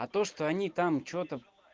а то что они там что-то